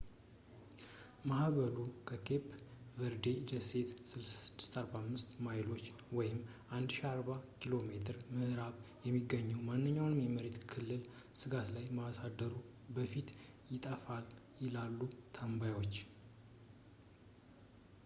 ማዕበሉ፣ ከኬፕ ቨርዴ ደሴቶች 645 ማይሎች 1040 ኪሜ ምዕራብ የሚገኘው፣ ማንኛውንም የመሬት ክልል ስጋት ላይ ከማሳደሩ በፊት ይጠፋል፣ ይላሉ ተንባዮች